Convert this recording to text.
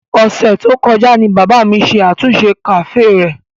Ọ̀sẹ̀ tó kọjá ni bàbá mi ṣe àtúnṣe kàféè rẹ̀.